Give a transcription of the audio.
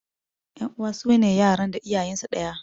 Ƴan uwa sune yaran da iyayensu ɗaya.